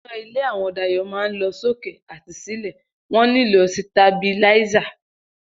Iná ilé àwọn Dayò máa ń lọ sókè àti sílè, wón nílò sitabiláísà